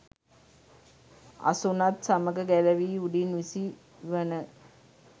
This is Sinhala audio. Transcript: අසුනත් සමග ගැලවී උඩින් විසි වන